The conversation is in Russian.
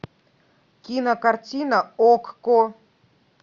кинокартина окко